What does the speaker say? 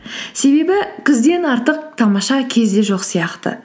себебі күзден артық тамаша кез де жоқ сияқты